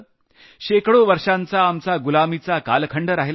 शेकडो वर्षांचा आमचा गुलामीचा कालखंड राहिला आहे